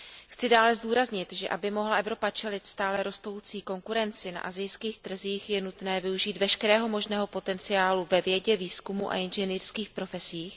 Chci dále zdůraznit, že aby mohla Evropa čelit stále rostoucí konkurenci na asijských trzích, je nutné využít veškerého možného potenciálu ve vědě, výzkumu a inženýrských profesích.